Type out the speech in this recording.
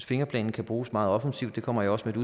fingerplanen kan bruges meget offensivt det kommer jeg også med